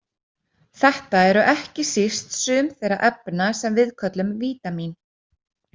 Þetta eru ekki síst sum þeirra efna sem við köllum vítamín.